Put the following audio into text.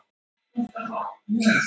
Rétt svör má senda á þetta netfang.